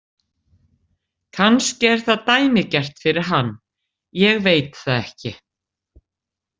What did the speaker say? Kannski er það dæmigert fyrir hann, ég veit það ekki.